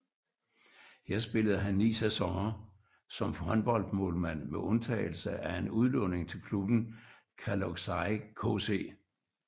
Her spillede han ni sæsoner som håndboldmålmand med undtagelse af en udlågning til klubben Kalocsai KC